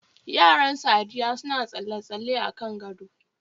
Yaran Saddiya suna tsalle-tsalle akan gado